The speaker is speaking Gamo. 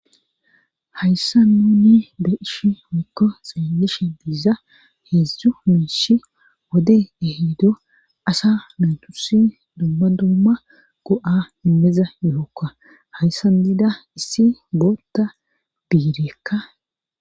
Hayssa nuni beishi mikko xeelishe biiza heedzdzu miish wode eheedo asa nutusi dumma dumma go7a immiza yookka hayssan diida issi boota biireekka.